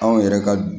Anw yɛrɛ ka